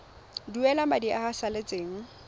duela madi a a salatseng